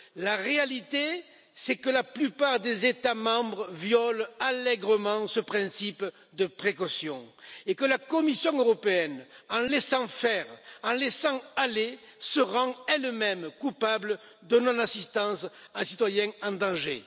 La réalité, c'est que la plupart des États membres violent allègrement ces principes de précaution et que la Commission européenne, en laissant faire, en laissant aller, se rend elle même coupable de non assistance à citoyen en danger.